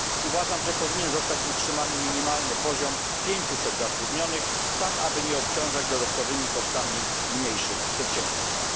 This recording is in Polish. Uważam, że powinien zostać utrzymany minimalny poziom 500 zatrudnionych, tak aby nie obciążać dodatkowymi kosztami mniejszych przedsiębiorstw.